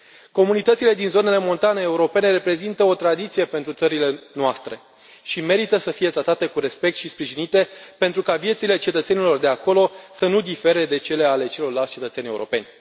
Comunitățile din zonele montane europene reprezintă o tradiție pentru țările noastre și merită să fie tratate cu respect și sprijinite pentru ca viețile cetățenilor de acolo să nu difere de cele ale celorlalți cetățeni europeni.